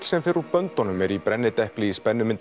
sem fer úr böndunum er í brennidepli í